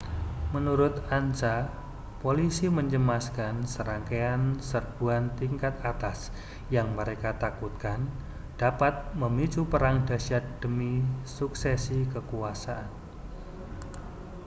menurut ansa polisi mencemaskan serangkaian serbuan tingkat atas yang mereka takutkan dapat memicu perang dahsyat demi suksesi kekuasaan